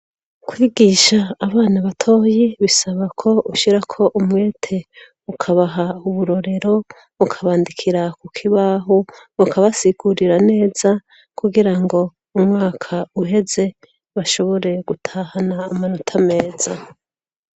kwigisha abana batoyi bisaba ko ushirako umwete, ukabaha uburorero, ukabandikira ku kibaho, ukakabasigurira neza kugira ngo umwaka uheze bashobore gutahana amanota meza.